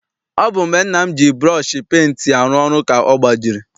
Ọ bụ mgbe nna m ji burọshi penti arụ ọrụ ka ọ gbajiri.